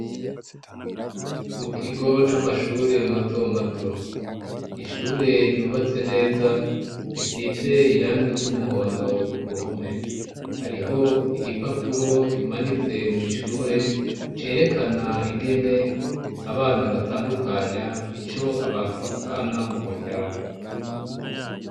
Mu kigo c'amashure mato mato ishure ryubatse neza risize irangi ry'umuhondo ku ruhome hariho igipapuro kimanitse mwiishure cerekana ingene abana batandukanya ico abantu bapfana mu muryango.